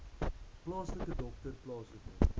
plaaslike dokter plaaslike